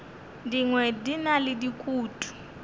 dingwe di na le dikutu